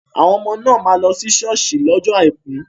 Àwọn ọmọ náà máa lọ si ṣọ́ọ̀ṣì lọ́jọ àìkú.